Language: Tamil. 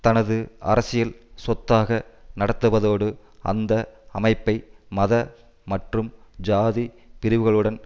தனது அரசியல் சொத்தாக நடத்துவதோடு அந்த அமைப்பை மத மற்றும் ஜாதி பிரிவுகளுடன்